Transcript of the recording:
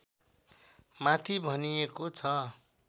माथि भनिएको छ